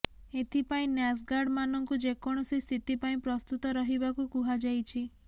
ଏଥିପାଇଁ ନ୍ୟାସ୍ଗାର୍ଡ ମାନଙ୍କୁ ଯେକୌଣସି ସ୍ଥିତି ପାଇଁ ପ୍ରସ୍ତୁତ ରହିବାକୁ କୁହାଯାଇଛି